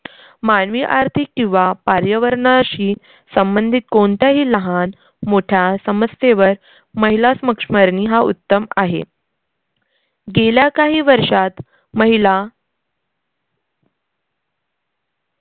मानवी, आर्थिक किंवा पार्यवरनाशी संबंधित कोणत्याही लहान मोठा समस्येवर महिला स्मक्ष्मरनी हा उत्तम आहे. गेल्या काही वर्षांत महिला